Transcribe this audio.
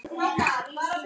Hann sagði Júlía!